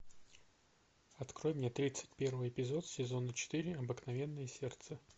открой мне тридцать первый эпизод сезона четыре обыкновенное сердце